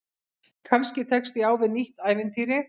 Kannski tekst ég á við nýtt ævintýri.